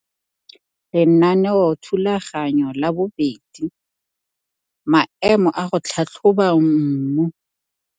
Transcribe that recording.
Lenaneothulaganyo la 2 - Maemo a go tlhatlhoba mmu.